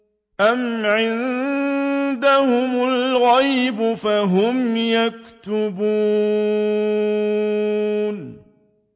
أَمْ عِندَهُمُ الْغَيْبُ فَهُمْ يَكْتُبُونَ